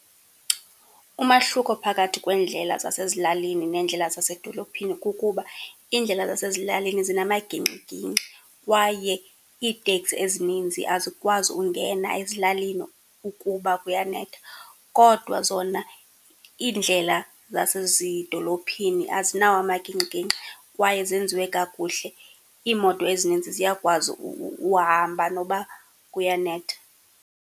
Umahluko phakathi kweendlela zasezilalini neendlela zasedolophini kukuba iindlela zasezilalini zinamagingxigingxi kwaye iiteksi ezininzi azikwazi ungena ezilalini ukuba kuyanetha. Kodwa zona iindlela zasezidolophini azinawo amagingxigingxi kwaye zenziwe kakuhle, iimoto ezininzi ziyakwazi uhamba noba kuyanetha.